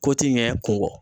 Ko ti ɲɛ kun kɔ.